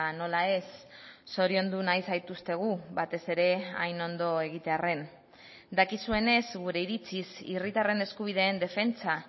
nola ez zoriondu nahi zaituztegu batez ere hain ondo egitearren dakizuenez gure iritziz herritarren eskubideen defentsa